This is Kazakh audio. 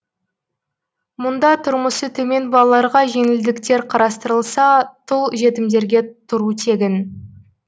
мұнда тұрмысы төмен балаларға жеңілдіктер қарастырылса тұл жетімдерге тұру тегін